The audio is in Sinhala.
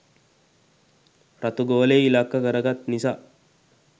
රතු ගෝලය ඉලක්ක කරගත් නිසා